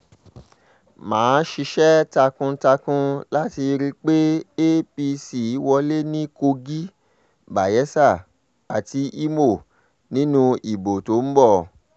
má a ṣiṣẹ́ takun-takun láti rí i pé apc wọlé ní kogi bayela àti ìmọ̀ nínú ìbò tó ń bọ̀